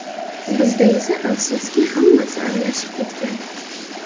Bizda esa, afsuski, hammasi aralashib ketgan.